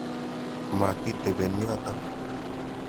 Mati tepen yotok.